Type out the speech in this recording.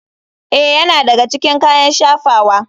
Ee, yana daga cikin kayan shafawa.